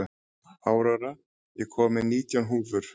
Aurora, ég kom með nítján húfur!